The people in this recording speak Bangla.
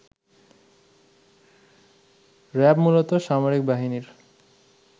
র‍্যাব মূলত সামরিক বাহিনীর